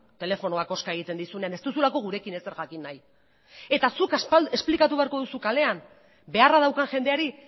telefonoak hozka egiten dizunean ez duzulako gurekin ezer jakin nahi eta zuk esplikatu beharko duzu kalean beharra daukan jendeari